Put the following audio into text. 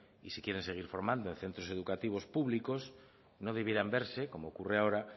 y si se quieren seguir formando en centros educativos públicos no debieran verse como ocurre ahora